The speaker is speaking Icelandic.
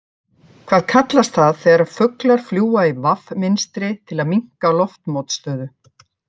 Hvað kallast það þegar fuglar fljúga í V mynstri til að minnka loftmótstöðu?